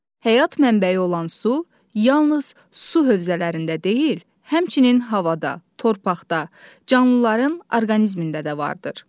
Həyat mənbəyi olan su yalnız su hövzələrində deyil, həmçinin havada, torpaqda, canlıların orqanizmində də vardır.